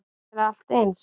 Þetta er allt eins.